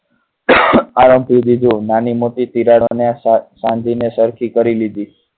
નાની મોટી તિરાડો અને શાકભાજી ને સરખી કરી લીધી.